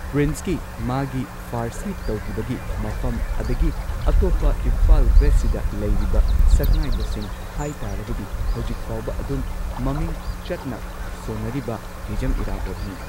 ꯄ꯭ꯔꯤꯟꯁꯀꯤ ꯃꯥꯒꯤ ꯐꯥꯔꯁꯤ ꯇꯧꯒꯤꯕꯒꯤ ꯃꯐꯝ ꯑꯗꯒꯤ ꯑꯇꯣꯞꯄ ꯏꯝꯐꯥꯜ ꯋꯦꯁꯠꯁꯤꯗ ꯂꯩꯔꯤꯕ ꯁꯛꯅꯥꯏꯕꯁꯤꯡ ꯍꯥꯢ ꯇꯥꯔꯒꯗꯤ ꯍꯧꯖꯤꯛ ꯐꯥꯎꯕ ꯑꯗꯨꯝ ꯃꯃꯤꯡ ꯆꯠꯅ ꯁꯣꯟꯅꯔꯤꯕ ꯍꯤꯖꯝ ꯢꯔꯥꯕꯣꯠꯅꯤ꯫